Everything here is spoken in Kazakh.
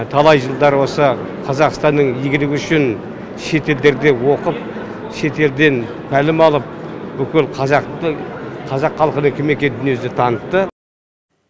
талай жылдар осы қазақстанның игілігі үшін шетелдерде оқып шет елден тәлім алып бүкіл қазақты қазақ халқының кім екенін дүние жүзіне танытты